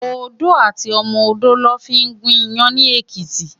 Odó àti ọmọ odó lò fin gún iyàn ni Ekiti